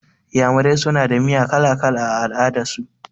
Iyamurai suna da miya kala-kala a al'adar su.